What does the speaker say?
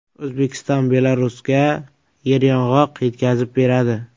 O‘zbekiston Belarusga yer yong‘oq yetkazib beradi.